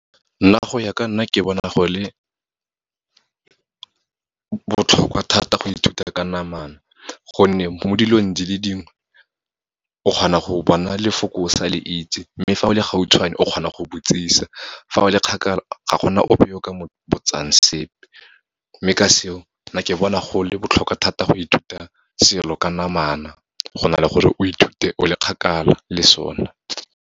Nna go ya ka nna ke bona go le botlhokwa thata go ithuta ka namana, gonne mo dilong di le dingwe o kgona go bona lefoko o sa le itse, mme fa o le gautshwane o kgona go botšiša, fa o le kgakala ga gona ope o ka mo botsang sepe. Mme ka seo, nna ke bona go le botlhokwa thata go ithuta selo ka namana, go na le gore o ithute o le kgakala le sona.